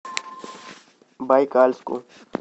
байкальску